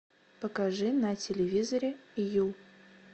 покажи на телевизоре ю